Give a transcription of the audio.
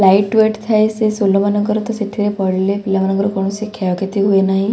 Light weight ଥାଏ ସେଇ sole ମାନଙ୍କର ତ ସେଥିରେ ପଡିଲେ ପିଲାମାନଙ୍କର କୌଣସି କ୍ଷୟ କ୍ଷତି ହୁଏ ନାହିଁ।